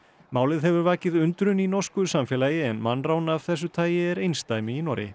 málið hefur vakið undrun í norsku samfélagi en mannrán af þessu tagi er einsdæmi í Noregi